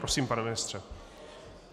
Prosím pane ministr.